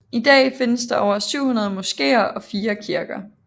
I dag findes der over 700 moskéer og 4 kirker